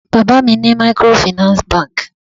Bàbá mi ni microfinance banki